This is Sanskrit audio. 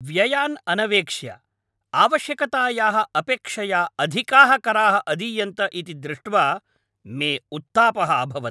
व्ययान् अनवेक्ष्य, आवश्यकतायाः अपेक्षया अधिकाः कराः अदीयन्त इति दृष्ट्वा मे उत्तापः अभवत्।